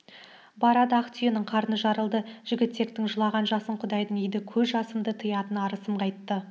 барады ақ түйенің қарны жарылды жігітектің жылаған жасын құдай иді көз жасымды тыятын арысым қайтты